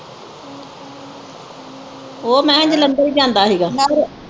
ਉਹ ਮੈਂ ਜਲੰਧਰ ਹੀ ਜਾਂਦਾ ਹੀਗਾ